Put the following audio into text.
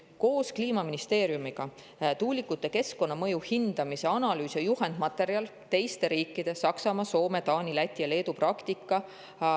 Koos Kliimaministeeriumiga tuulikute keskkonnamõju hindamise analüüsi ja juhendmaterjali teiste riikide – Saksamaa, Soome, Taani, Läti ja Leedu – praktika põhjal.